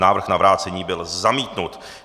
Návrh na vrácení byl zamítnut.